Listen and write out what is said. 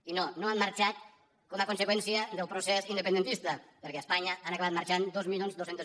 i no no han marxat com a conseqüència del procés independentista perquè a espanya han acabat marxant dos mil dos cents